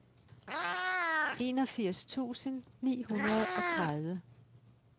enogfirs tusind ni hundrede og tredive